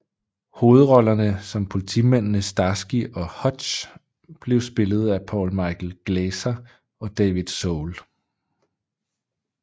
Hovedrollerne som politimændene Starsky and Hutch blev spillet af Paul Michael Glaser og David Soul